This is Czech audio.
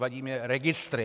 Vadí mi registry.